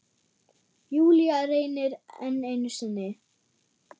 Júlía reynir enn einu sinni.